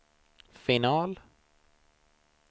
final